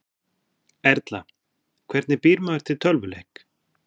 Erla: Hvernig býr maður til tölvuleik?